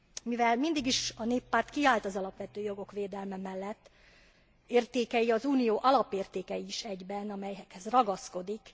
Mivel a Néppárt mindig is kiállt az alapvető jogok védelme mellett, értékei az Unió alapértékei is egyben, amelyekhez ragaszkodik.